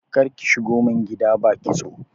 Karki shigo min gida ba kitso.